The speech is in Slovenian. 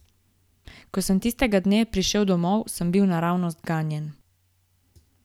Ko sem tistega dne prišel domov, sem bil naravnost ganjen.